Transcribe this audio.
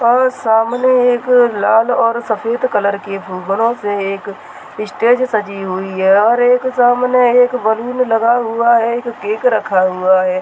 ओ सामने एक लाल और सफेद कलर की फुबरो से एक स्टेज सजी हुई है और एक सामने एक बैलून लगा हुआ है केक रखा हुआ हैं।